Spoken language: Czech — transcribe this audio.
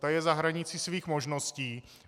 Ta je za hranicí svých možností.